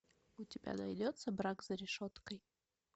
у тебя найдется брак за решеткой